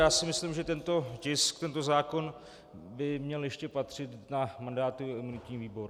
Já si myslím, že tento tisk, tento zákon by měl ještě patřit na mandátový a imunitní výbor.